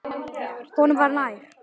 Honum var nær.